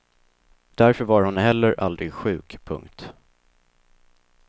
Därför var hon heller aldrig sjuk. punkt